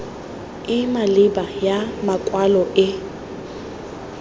e maleba ya makwalo e